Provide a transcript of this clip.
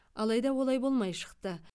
алайда олай болмай шықты